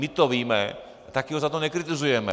My to víme, taky ho za to nekritizujeme.